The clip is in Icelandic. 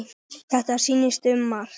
Þetta snýst um margt.